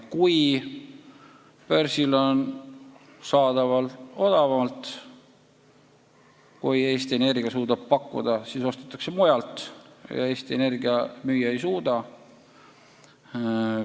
Kui börsil on elektrienergia saadaval odavamalt, kui Eesti Energia suudab pakkuda, siis ostetakse mujalt ja Eesti Energia müüa ei suuda.